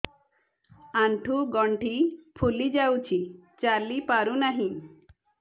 ଆଂଠୁ ଗଂଠି ଫୁଲି ଯାଉଛି ଚାଲି ପାରୁ ନାହିଁ